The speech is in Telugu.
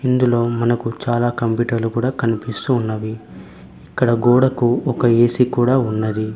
ఇందులో మనకు చాలా కంప్యూటర్లు కూడా కనిపిస్తూ ఉన్నవి. ఇక్కడ గోడకు ఒక ఏ_సీ కూడా ఉన్నది.